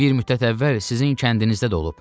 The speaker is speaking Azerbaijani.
Bir müddət əvvəl sizin kəndinizdə də olub.